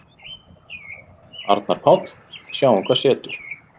Arnar Páll: Sjáum hvað setur.